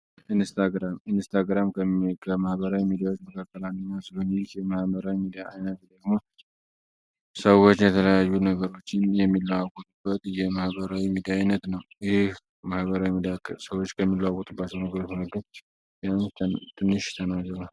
ኢንስታግራም ከመህበራዊ የሚዳዎች መካከላኛው ስሉኒይክ የመህበረኝ ሊአይነት ደግሞ ሰዎች የተለያዩ ነገሮችን የሚለዋጎትበት የማህበራዊ የሚዳይነት ነው። ይህ መህበራዊ የክር ሰዎች ከሚላሁት በአስነግር መረገች ቢያን ትንሽ ተናገሩ?